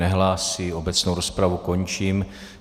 Nehlásí, obecnou rozpravu končím.